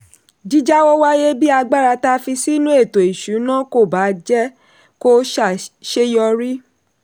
jíjàwọ́ wáyé bí agbára tá fi sínú ètò-ìṣúnà kò bá jẹ́ kó ṣeyọrí.